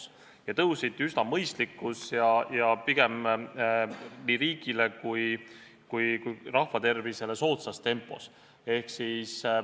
Ja need tõusid üsna mõistlikus ja pigem nii riigile kui rahva tervisele soodsas tempos.